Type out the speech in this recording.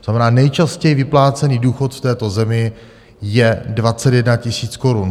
To znamená, nejčastěji vyplácený důchod v této zemi je 21 000 korun.